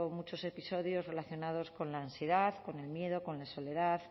muchos episodios relacionados con la ansiedad con el miedo con la soledad